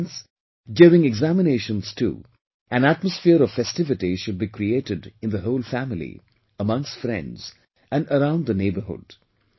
Hence, during examinations too, an atmosphere of festivity should be created in the whole family, amongst friends and around the neighbourhood